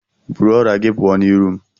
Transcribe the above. Bụrụ ọrịa gị pụọ n'iru m!